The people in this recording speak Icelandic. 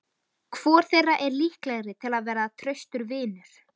Hvor þeirra er líklegri til að verða traustur vinur?